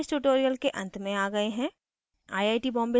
हम इस tutorial के अंत में आ गए हैं